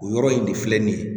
O yɔrɔ in de filɛ nin ye